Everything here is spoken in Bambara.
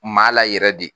Maa la yɛrɛ de